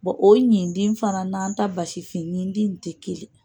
o ɲindin fana n'an ta basifin ɲindin nin tɛ kelen.